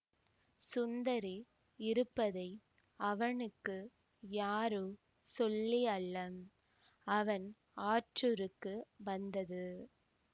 சுந்தரி இருப்பதை அவனுக்கு யாரோ சொல்லியல்ல அவன் ஆற்றூருக்கு வந்தது